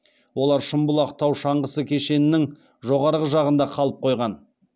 олар шымбұлақ тау шаңғысы кешенінің жоғары жағында қалып қойған